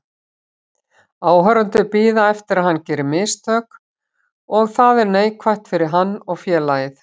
Áhorfendur bíða eftir að hann geri mistök og það er neikvætt fyrir hann og félagið.